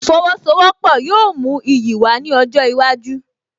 Ìfowósowọ́pọ̀ yóò mú iyì wá ní ọjọ́ iwájú